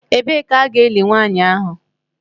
Ebee ka a ga-eli nwanyị ahụ?